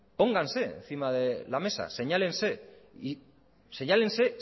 pónganse encima de la mesa señálense